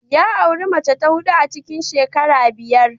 Ya auri mace ta huɗu a cikin shekara biyar.